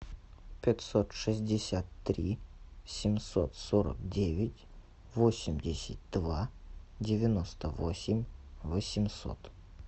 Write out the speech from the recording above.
пятьсот шестьдесят три семьсот сорок девять восемьдесят два девяносто восемь восемьсот